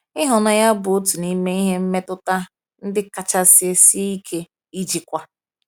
Ihụnanya bụ otu n’ime mmetụta ndị kachasị sie ike ijikwa.